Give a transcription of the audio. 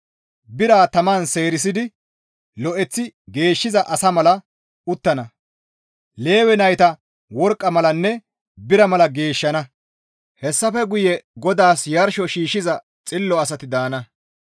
Bira taman seerisidi lo7eththi geeshshiza asa mala uttana; Lewe nayta worqqa malanne bira mala geeshshana; hessafe guye GODAAS yarsho shiishshiza xillo asati daana.